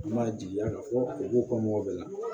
An b'a jigiya ka fɔ u b'u kɔ mɔgɔ bɛɛ la